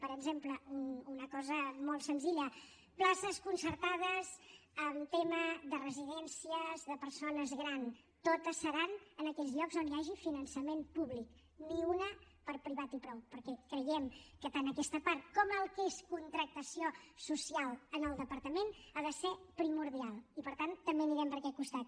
per exemple una cosa molt senzilla places concertades en tema de residències de persones grans totes seran en aquells llocs on hi hagi finançament públic ni una per a privat i prou perquè creiem que tant aquesta part com el que és contractació social en el departament ha de ser primordial i per tant també anirem per aquest costat